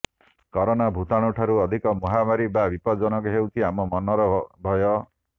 corona ଭୂତାଣୁଠାରୁ ଅଧିକ ମହାମାରୀ ବା ବିପଦଜନକ ହେଉଛି ଆମ ମନର ଭୟ